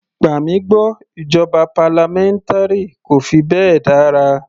Gbà mí gbọ́ ìjọba parliamentary kò fi bẹ́ẹ̀ dára.